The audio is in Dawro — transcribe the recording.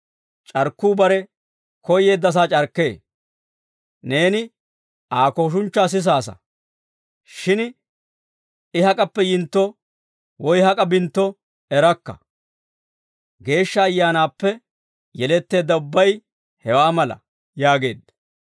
C'arkkuu bare koyyeeddasaa c'arkkee. Neeni Aa kooshunchchaa sisaasa; shin I hak'appe yintto woy hak'a bintto erakka. Geeshsha Ayyaanaappe yeletteedda ubbay hewaa mala» yaageedda.